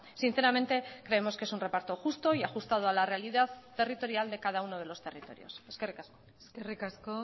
sinceramente creemos que es un reparto justo y ajustado a la realidad territorial de cada uno de los territorios eskerrik asko eskerrik asko